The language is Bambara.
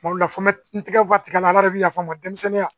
Kuma dɔ la fɔ bɛ n tɛgɛ tigɛ la de bi yafa n ma denmisɛnninya